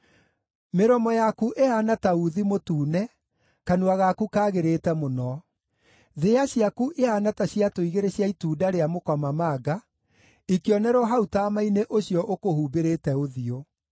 Mĩromo yaku ĩhaana ta uuthi mũtune; kanua gaku kagĩrĩte mũno. Thĩa ciaku ihaana ta ciatũ igĩrĩ cia itunda rĩa mũkomamanga, ikĩonerwo hau taama-inĩ ũcio ũkũhumbĩrĩte ũthiũ.